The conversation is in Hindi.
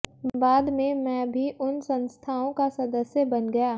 बाद में मैं भी उन संस्थानों का सदस्य बन गया